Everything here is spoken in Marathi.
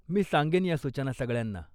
मी सांगेन या सूचना सगळ्यांना.